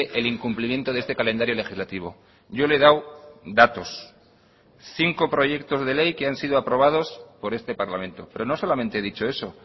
el incumplimiento de este calendario legislativo yo le he dado datos cinco proyectos de ley que han sido aprobados por este parlamento pero no solamente he dicho eso